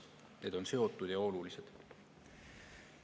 Need on seotud ja olulised.